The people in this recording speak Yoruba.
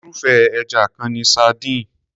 Irúfé ẹja kan ni sardines.